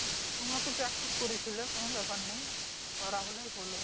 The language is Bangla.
তোমরা তো Practice করেছিলে কোন ব্যাপার নাই। করা হলেই হলো